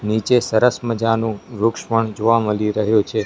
નીચે સરસ મજાનુ વૃક્ષ પણ જોવા મલી રહ્યુ છે.